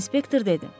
İnspektor dedi.